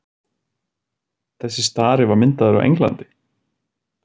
þessi stari var myndaður á englandi